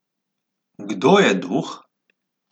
Kdo je duh?